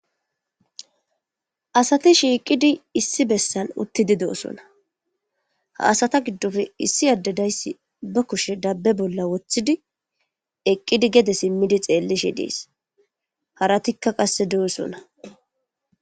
Assathi shiqidi issi bessan uttidi dossona. Ha assatha gidope issi adde diysi be kushe adde bolla wothi eqidi gede simidi xelishe dess harathika qasse dossona.